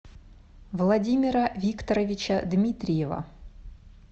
владимира викторовича дмитриева